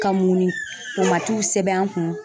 Ka munni pomatiw sɛbɛn an kun.